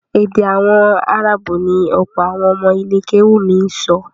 Èdè àwọn áráàbù ni ọ̀pọ̀ àwọn ọmọ ilé kéwúù mi ń sọ